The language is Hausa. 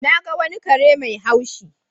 Na ga wani kare mai haushi.